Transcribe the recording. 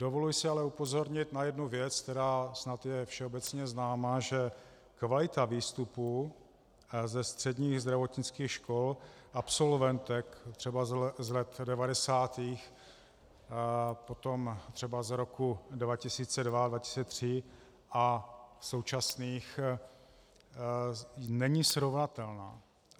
Dovoluji si ale upozornit na jednu věc, která snad je všeobecně známá, že kvalita výstupů ze středních zdravotnických škol absolventek třeba z let 90., potom třeba z roku 2002, 2003 a současných není srovnatelná.